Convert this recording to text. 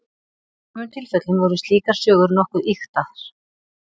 í sumum tilfellum voru slíkar sögur nokkuð ýktar